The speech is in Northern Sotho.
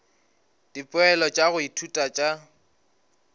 dipoelo tša go ithuta tša